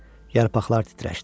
Yarpaqlar titrəşdi.